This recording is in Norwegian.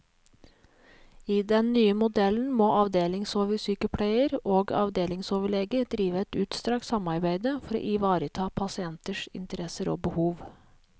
I den nye modellen må avdelingsoversykepleier og avdelingsoverlege drive et utstrakt samarbeide for å ivareta pasienters interesser og behov.